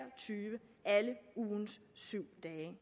tyve alle ugens syv dage